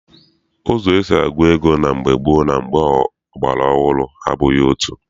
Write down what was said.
Ụzọ esi agụ ego na mgbe gboo na ọgbara ọhụrụ abụghị otu.